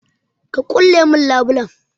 Ka ƙulle mun labulai.